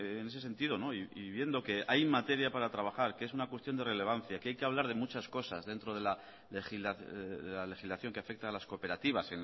en ese sentido y viendo que hay materia para trabajar que es una cuestión de relevancia que hay que hablar de muchas cosas dentro de la legislación que afecta a las cooperativas